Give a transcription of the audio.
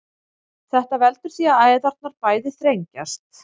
þetta veldur því að æðarnar bæði þrengjast